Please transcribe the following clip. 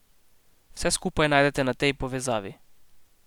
Vse skupaj najdete na tej povezavi.